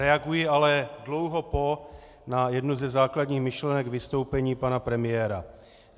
Reaguji ale dlouho po na jednu ze základních myšlenek vystoupení pana premiéra.